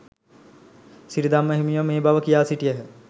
සිරිධම්ම හිමියෝ මේ බව කියා සිටියහ.